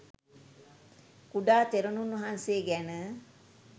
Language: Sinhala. කුඩා තෙරණුන් වහන්සේ ගැන